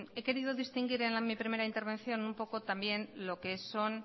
he querido distinguir en mi primera intervención un poco también lo que son